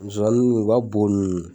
Musomanin u ka bo nun.